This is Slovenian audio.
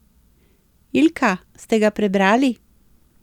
Ilka, ste ga prebrali?